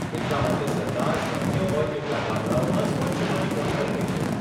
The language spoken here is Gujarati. એટલા માટે સરકાર શક્ય હોય તેટલા ગામડાઓમાં સ્વચ્છ પાણી પહોંચાડી રહી છે.